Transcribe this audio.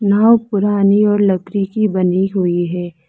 नाव पुरानी और लकड़ी की बनी हुई है।